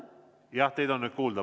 Jah, teid on nüüd kuulda.